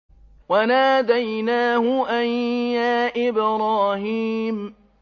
وَنَادَيْنَاهُ أَن يَا إِبْرَاهِيمُ